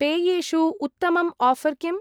पेयेषु उत्तमम् आफर् किम्?